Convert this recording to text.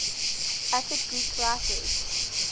attic greek writers